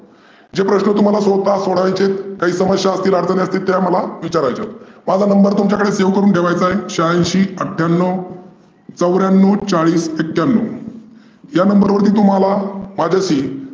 जे प्रश्न स्वता सोडवायचे आहेत काही समस्या अ‍डचनी असतील त्या मला विचारायच्या आहेत. माझा number तुमच्याकडे save करूण ठेवायचा आहे. शहाऐंशी अठठयाण्णव चव्याणव्व चाळीस एक्याण्णव या number वरती तुम्हाला येईल.